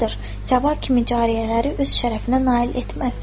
Səbah kimi cariyələri öz şərəfinə nail etməz.